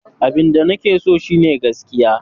Abinda nake so shine gaskiya.